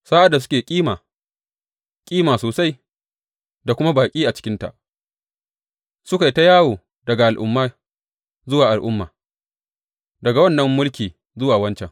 Sa’ad da suke kima, kima sosai, da kuma baƙi a cikinta, suka yi ta yawo daga al’umma zuwa al’umma, daga wannan mulki zuwa wancan.